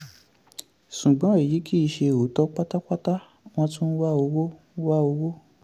ṣùgbọ́n èyí kì í ṣe òótọ́ pátápátá wọ́n tún ń wá owó. wá owó.